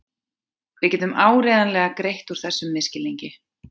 Við getum áreiðanlega greitt úr þessum misskilningi.